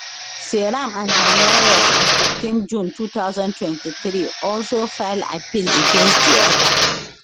seyram and her lawyers on 15 june 2023 also file appeal against di order